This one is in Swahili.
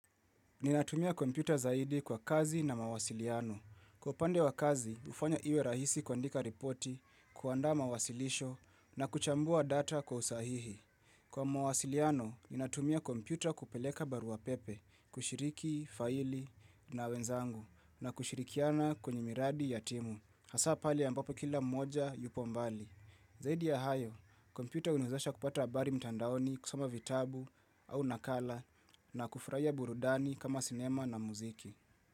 Ninatumia kompyuta zaidi kwa kazi na mawasiliano. Kwa pande wa kazi, ufanya iwe rahisi kuandika ripoti, kuandaa mawasilisho na kuchambua data kwa usahihi. Kwa mawasiliano, ninatumia kompyuta kupeleka barua pepe, kushiriki, faili na wenzangu, na kushirikiana kwenye miradi ya timu. Hasa pale ambapo kila mmoja yupo mbali. Zaidi ya hayo, kompyuta huniezesha kupata abari mtandaoni kusoma vitabu au nakala na kufurahia burudani kama sinema na muziki.